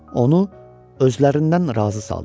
Onu özlərindən razı saldılar.